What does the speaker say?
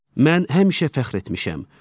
Mən həmişə fəxr etmişəm.